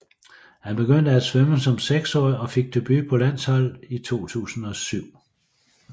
Han begyndte at svømme som seksårig og fik debut på landsholdet i 2007